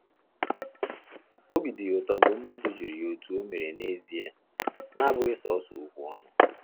Obi dị ya ụtọ mgbe mmadụ jụrụ ya otú o mere na ezia, na abụghị sọsọ okwu ọnụ